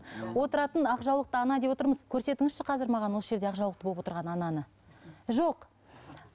отыратын ақ жаулықты ана деп отырмыз көрсетіңізші қазір маған осы жерде ақ жаулықты болып отырған ананы жоқ